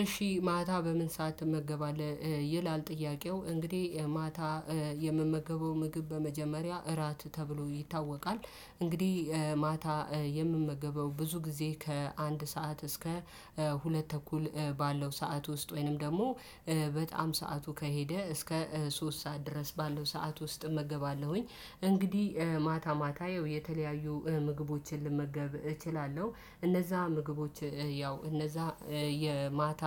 እሺ ማታ በምን ሰዓት ትመገባለህ? ይላል ጥያቄው እንግዲህ ማታ የምመገበው ምግብ በመጀመሪያ እራት ተብሎ ይታወቃል እንግዲህ ማታ የምመገበው ብዙ ጊዜ ከአንድ ሰዓት እስከ ሁለት ተኩል ባለው ሰዓት ውስጥ ወይንም ደግሞ በጣም ሰዓቱ ከሄደ እስከ ሶስት ሰዓት ድረስ ባለው ሰዓት ውስጥ እመገባለሁኝ። እንግዲህ ማታ ማታ ያው የተለያዩ ምግቦችን ልመገብ እችላለሁ እነዛ ምግቦች ያው እነዛ የማታ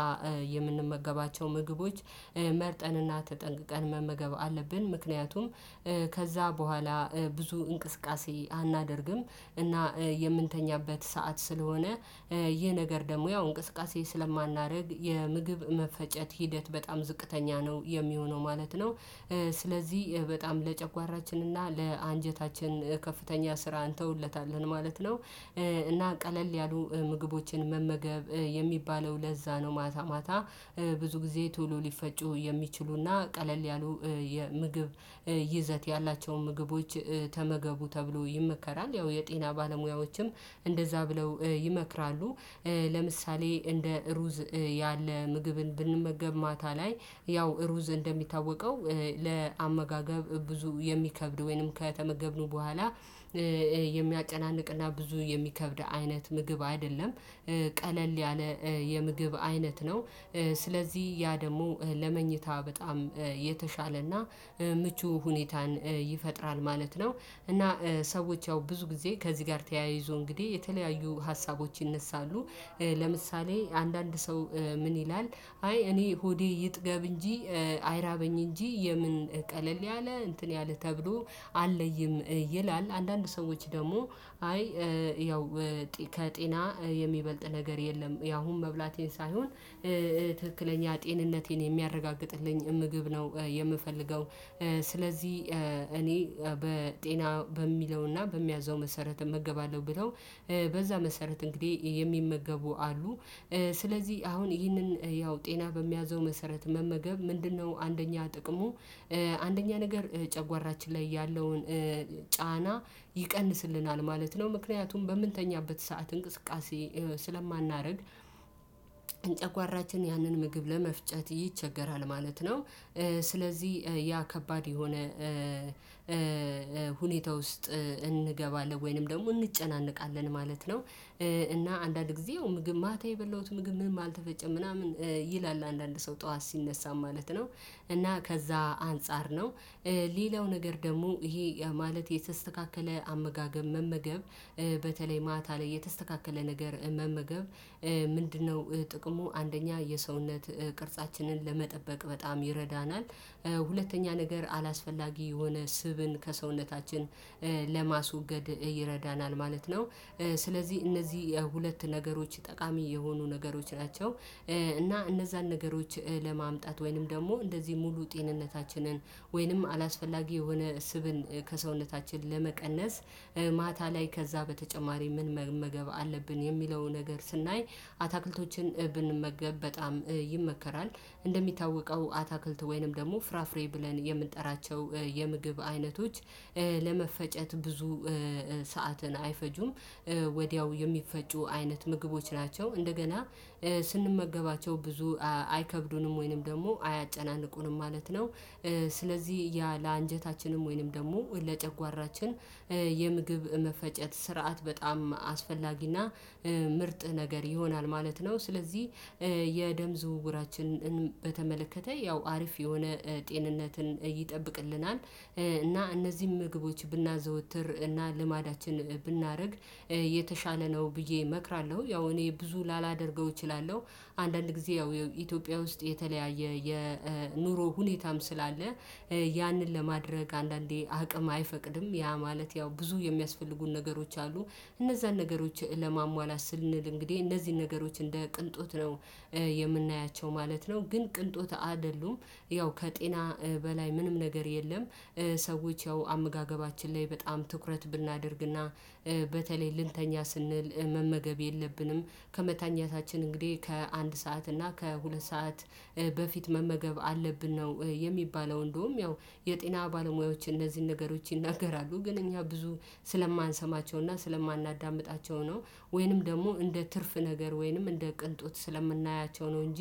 የምንመገባቸው ምግቦች መርጠን እና ተጠንቅቀን መመገብ አለብን። ምክንያቱም ከዛ በኋላ ብዙ እንቅስቃሴ አናደርግም እና የምንተኛበት ሰዓት ስለሆነ ይህ ነገር ደግሞ ያው እንቅስቃሴ ስለማናደርግ የምግብ መፈጨት ሂደት በጣም ዝቅተኛ ነው የሚሆነው ማለት ነው። ስለዚህ በጣም ለጨጓራችን እና ለአንጀታችን ከፍተኛ ስራ እንተውለታለን ማለት ነው። እና ቀለል ያሉ ምግቦችን መመገብ የሚባለው ለዛ ነው ማታ ማታ ብዙ ጊዜ ቶሎ ሊፈጩ የሚችሉ እና ቀለል ያሉ የምግብ ይዘት ያላቸውን ምግቦች ተመገቡ ተብሎ ይመከራል። ያው የጤና ባለሙያዎችም እንደዛ ብለው ይመክራሉ። ለምሳሌ እንደ ሩዝ ያለ ምግብን ብንመገብ ማታ ላይ ያው ሩዝ እንደሚታወቀው ለአመጋገብ ብዙ የሚከብድ ወይንም ከተመገብነው በኋላ የሚያጨናንቅ እና ብዙ የሚከብድ አይነት ምግብ አይደለም። ቀለል ያለ የምግብ አይነት ነው። ስለዚህ ያ ደግሞ ለመኝታ በጣም የተሻለ እና ምቹ ሁኔታን ይፈጥራል ማለት ነው። እና ሰዎች ያው ብዙ ጊዜ ከዚህ ጋር ተያይዞ እንግዲህ የተለያዩ ሀሳቦች ይነሳሉ። ለምሳሌ አንዳንድ ሰው ምን ይላል አይ እኔ ሆዴ ይጥገብ እንጂ አይራበኝ እንጂ የምን ቀለል ያለ እንትን ያለ ተብሎ አለይም ይላል። አንዳንድ ሰዎች ደግሞ አይ ያው ከጤና የሚበልጥ ነገር የለም ያሁን መብላቴን ሳይሆን ትክክለኛ ጤንነቴን የሚያረጋግጥልኝ ምግብ ነው። የምፈልገው ስለዚህ እኔ በጤና በሚለው እና በሚያዘው መሰረት እመገባለሁ ብለው በዛ መሰረት እንግዲህ የሚመገቡ አሉ። ስለዚህ አሁን ይህንን ያው ጤና በሚያዘው መሰረት መመገብ ምንድን ነው አንደኛ ጥቅሙ? አንደኛ ነገር ጨጓራችን ላይ ያለውን ጫና ይቀንስልናል ማለት ነው። ምክንያቱም በምንተኛበት ሰዓት እንቅስቃሴ ስለማናደርግ ጨጓራችን ያንን ምግብ ለመፍጨት ይቸገራል ማለት ነው። ስለዚህ ያ ከባድ የሆነ ሁኔታ ውስጥ እንገባለን ወይንም ደግሞ እንጨናነቃለን ማለት ነው። እና አንዳንድ ጊዜ ያው ምግብ ማታ የበላሁት ምግብ ምንም አልተፈጨም ምናምን ይላል አንዳንድ ሰው ጠዋት ሲነሳም ማለት ነው። እና ከዛ አንፃር ነው። ሌላው ነገር ደግሞ ይሄ ማለት የተስተካከለ አመጋገብ መመገብ በተለይ ማታ ላይ የተስተካከለ ነገር መመገብ። ምንድን ነው? ጥቅሙ አንደኛ የሰውነት ቅርጻችንን ለመጠበቅ በጣም ይረዳናል። ሁለተኛ ነገር አላስፈላጊ የሆነ ስብን ከሰውነታችን ለማስወገድ ይረዳናል ማለት ነው። ስለዚህ እነዚህ የሁለት ነገሮች ጠቃሚ የሆኑ ነገሮች ናቸው። እና እነዛን ነገሮች ለማምጣት ወይንም ደግሞ እንደዚህ ሙሉ ጤንነታችንን ወይንም አላስፈላጊ የሆነ ስብን ከሰውነታችን ለመቀነስ ማታ ላይ ከዛ በተጨማሪ ምን መመገብ አለብን የሚለውን ነገር ስናይ አትክልቶችን ብንመገብ በጣም ይመከራል። እንደሚታወቀው አትክልት ወይንም ደግሞ ፍራፍሬ ብለን የምንጠራቸው የምግብ አይነቶች ለመፈጨት ብዙ ሰዓትን አይፈጁም። ወዲያው የሚፈጩ አይነት ምግቦች ናቸው እንደገና ስንመገባቸው ብዙ አይከብዱንም ወይንም ደግሞ አያጨናንቁንም ማለት ነው። ስለዚህ ያ ለአንጀታችንም ወይንም ደግሞ ለጨጓራችን የምግብ መፈጨት ስርዓት በጣም አስፈላጊ እና ምርጥ ነገር ይሆናል ማለት ነው። ስለዚህ የደም ዝውውራችንን በተመለከተ ያው አሪፍ የሆነ ጤንነትን ይጠብቅልናል። እና እነዚህን ምግቦች ብናዘወትር እና ልማዳችን ብናደርግ የተሻለ ነው ብዬ እመክራለሁ። ያው እኔ ብዙ ላላደርገው እችላለሁ። አንዳንድ ጊዜ ያው ኢትዮጵያ ውስጥ የተለያየ የኑሮ ሁኔታም ስላለ ያንን ለማድረግ አንዳንዴ አቅም አይፈቅድም። ያ ማለት ያው ብዙ የሚያስፈልጉን ነገሮች አሉ። እነዛን ነገሮች ለማሟላት ስንል እንግዲህ እነዚህን ነገሮች እንደ ቅንጦት ነው የምናያቸው ማለት ነው። ግን ቅንጦት አይደሉም። ያው ከጤና በላይ ምንም ነገር የለም። ሰዎች ያው አመጋገባችን ላይ በጣም ትኩረት ብናደርግ እና በተለይ ልንተኛ ስንል መመገብ የለብንም። ከመተኛታችን እንግዲህ ከአንድ ሰዓት እና ከሁለት ሰዓት በፊት መመገብ አለብን ነው የሚባለው እንደውም ያው የጤና ባለሙያዎች እነዚህን ነገሮች ይናገራሉ ግን እኛ ብዙ ስለማንሰማቸው እና ስለማናዳምጣቸው ነው። ወይንም ደግሞ እንደ ትርፍ ነገር ወይንም እንደ ቅንጦት ስለምናያቸው ነው እንጂ